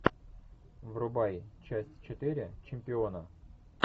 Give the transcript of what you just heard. врубай часть четыре чемпиона